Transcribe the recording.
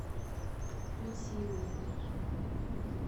путиловой